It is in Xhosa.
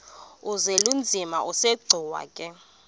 uzwelinzima asegcuwa ke